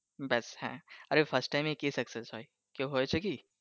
ব্যাস হ্যাঁ আরেহ first time এ কে success হয় কেউ হয়েছে কি?